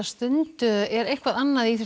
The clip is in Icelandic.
er eitthvað annað í